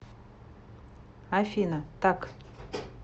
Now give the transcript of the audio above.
афина так